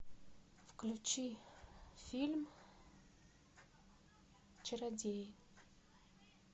включи фильм чародеи